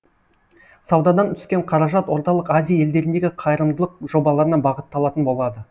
саудадан түскен қаражат орталық азия елдеріндегі қайырымдылық жобаларына бағытталатын болады